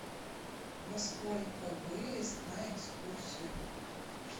во сколько выезд на экскурсию